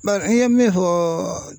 Bari i ye min fɔɔ